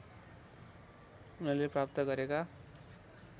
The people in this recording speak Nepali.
उनले प्राप्त गरेका